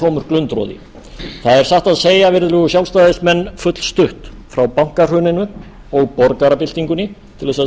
tómur glundroði það er satt að segja virðulegir sjálfstæðismenn fullstutt frá bankahruninu og borgarabyltingunni til þess að